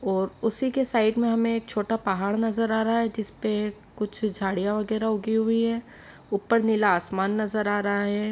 और उसी के साइड में हमें छोटा पहाड़ नजर आ रहा है जिसपे कुछ झाड़ियाँ वगेरा उगी हुई है ऊपर नीला आसमान नजर आ रहा है।